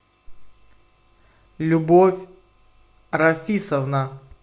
любовь рафисовна